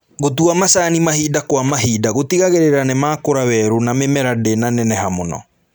Gũtua macani mahinda kwa mahinda gũtigagĩrĩra nimakũra werũ na mĩmera ndĩnaneneha mũno